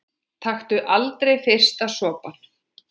Taktu aldrei fyrsta sopann!